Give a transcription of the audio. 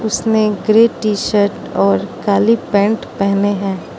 इसमें grey T shirt और काली पैंट पहने हैं।